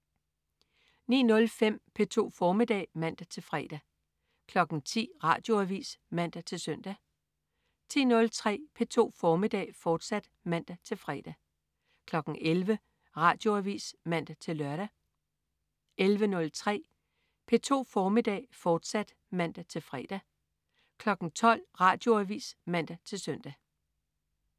09.05 P2 formiddag (man-fre) 10.00 Radioavis (man-søn) 10.03 P2 formiddag, fortsat (man-fre) 11.00 Radioavis (man-lør) 11.03 P2 formiddag, fortsat (man-fre) 12.00 Radioavis (man-søn)